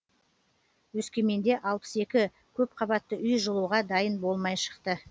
өскеменде алпыс екі көп қабатты үй жылуға дайын болмай шықты